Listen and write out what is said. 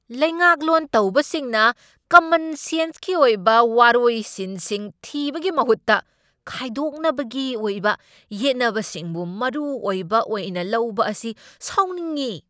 ꯂꯩꯉꯥꯛꯂꯣꯟ ꯇꯧꯕꯁꯤꯡꯅ ꯀꯃꯟ ꯁꯦꯟꯁꯀꯤ ꯑꯣꯏꯕ ꯋꯥꯔꯣꯏꯁꯤꯟꯁꯤꯡ ꯊꯤꯕꯒꯤ ꯃꯍꯨꯠꯇ ꯈꯥꯏꯗꯣꯛꯅꯕꯒꯤ ꯑꯣꯏꯕ ꯌꯦꯠꯅꯕꯁꯤꯡꯕꯨ ꯃꯔꯨ ꯑꯣꯏꯕ ꯑꯣꯏꯅ ꯂꯧꯕ ꯑꯁꯤ ꯁꯥꯎꯅꯤꯡꯢ꯫